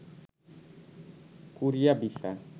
Korea visa